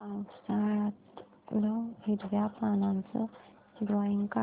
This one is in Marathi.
पावसाळ्यातलं हिरव्या पानाचं ड्रॉइंग काढ